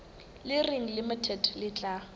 le reng limited le tla